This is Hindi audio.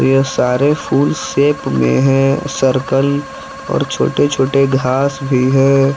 यह सारे फूल सेप में है सर्कल और छोटे छोटे घास भी है।